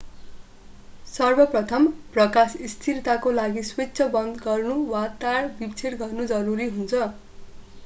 सर्वप्रथम प्रकाश स्थिरताको लागि स्विच बन्द गर्नु वा तार विच्छेद गर्नु जरुरी हुन्छ